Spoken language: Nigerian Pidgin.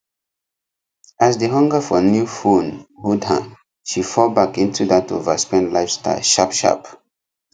as the hunger for new phone hold her she fall back into that overspend lifestyle sharpsharp